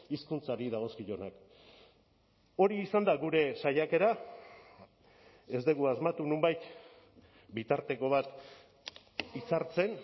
hizkuntzari dagozkionak hori izan da gure saiakera ez dugu asmatu nonbait bitarteko bat hitzartzen